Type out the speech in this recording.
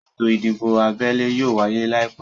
Ètò ìdìbò abẹ́lé yóò wáyé láìpẹ́